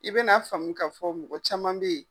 I be na faamu ka fɔ mɔgɔ caman be yen .